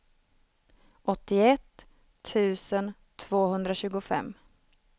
åttioett tusen tvåhundratjugofem